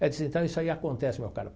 Eu disse, então, isso aí acontece, meu caro.